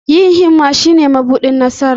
Yin himma shine mabuɗin nasara.